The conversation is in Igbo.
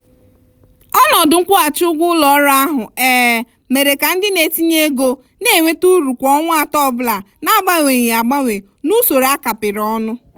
ọnọdụ nkwụghachi ụgwọ ụlọ ọrụ ahụ um mere ka ndị na-etinye ego na-enweta uru kwa ọnwa atọ ọbụla na-agbanweghi agbanwe n'usoro a kapịrị ọnụ.